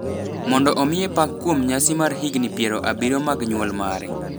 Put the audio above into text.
mondo omiye pak kuom nyasi mar higini piero abirio mag nyuol mare.